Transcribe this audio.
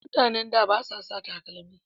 Mutanen da ba su saka takalmi